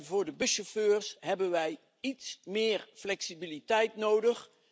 Voor de buschauffeurs hebben wij iets meer flexibiliteit nodig.